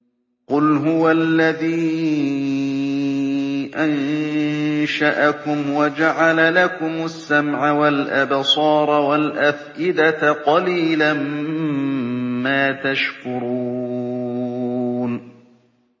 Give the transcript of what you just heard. قُلْ هُوَ الَّذِي أَنشَأَكُمْ وَجَعَلَ لَكُمُ السَّمْعَ وَالْأَبْصَارَ وَالْأَفْئِدَةَ ۖ قَلِيلًا مَّا تَشْكُرُونَ